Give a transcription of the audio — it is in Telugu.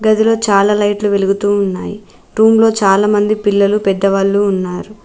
గదిలో చాలా లైట్లు వెలుగుతూ ఉన్నాయి రూమ్ లో చాలా మంది పిల్లలు పెద్దవాళ్ళు ఉన్నారు.